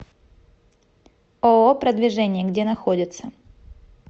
ооо продвижение где находится